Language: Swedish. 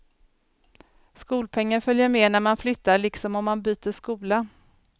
Skolpengen följer med när man flyttar liksom om man byter skola.